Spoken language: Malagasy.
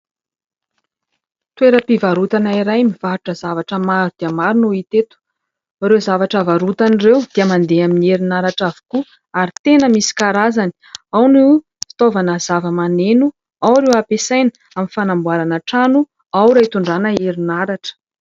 Toeram-pivarotana iray mivarotra zavatra maro dia maro no hita eto. Ireo zavatra varotany ireo dia mandeha amin'ny herinaratra avokoa ary tena misy karazany. Ao no fitaovana zavamaneno, ao ireo hampiasaina amin'ny fanamboarana trano, ao ireo hitondrana herinaratra.